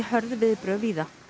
hörð viðbrögð víða